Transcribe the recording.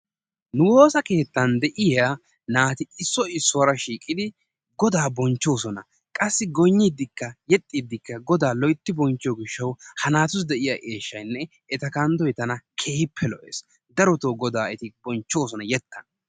Nu woossa keetan de'iyaa naati issoy issuwaara shiiqqidi goodaa bonchchoosona. qassi goynnidikka yexxiidikka godaa loytti boncchiyoo giishshawu ha naatussi de'iyaa eeshshyanne eta kanddoy tana keehippe lo"ees. darotoo godaa eti bonchoosona yeettan.